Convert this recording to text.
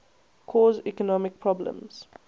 cause economic problems